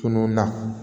Tunun na